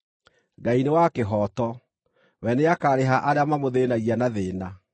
Ngai nĩ wa kĩhooto: We nĩakarĩha arĩa mamũthĩĩnagia na thĩĩna,